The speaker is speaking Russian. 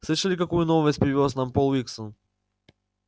слышали какую новость привёз нам пол уилсон